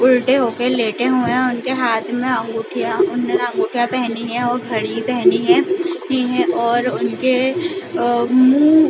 उलटे होके लेटे हुए है उनके हाथ में अंगुठियाँ अंगुठियाँ पेहनी है और घड़ी पेहनी है पी है और उनके अ उ उ--